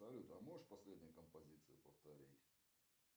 салют а можешь последнюю композицию повторить